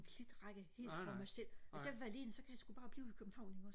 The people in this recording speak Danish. klitrække helt for mig selv hvis jeg vil være alene så kan jeg sku bare blive i København ikke også